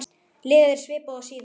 Liðið er svipað og síðast.